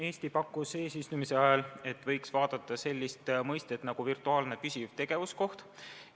Eesti pakkus eesistumise ajal, et võiks vaadata sellist mõistet nagu "virtuaalne püsiv tegevuskoht".